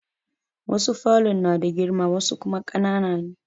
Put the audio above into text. Wasu falon na da girma wasu kuma ƙanana ne.